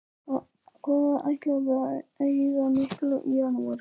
Hvað ætlarðu að eyða miklu í janúar?